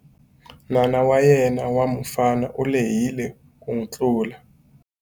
N'wana wa yena wa mufana u lehile ku n'wi tlula.